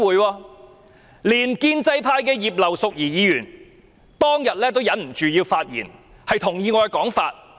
當天連建制派的葉劉淑儀議員都忍不住發言，同意我的說法。